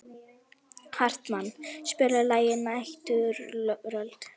Hartmann, spilaðu lagið „Næturrölt“.